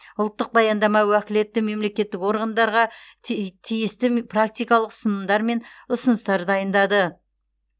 ұлттық баяндама уәкілетті мемлекеттік орғандарға ти тиісті практикалық ұсынымдар мен ұсыныстар дайындады